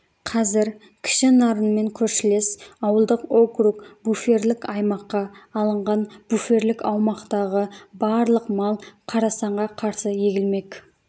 қазір кіші нарынмен көршілес ауылдық округ буферлік аймаққа алынған буферлік аумақтағы барлық мал қарасанға қарсы егілмек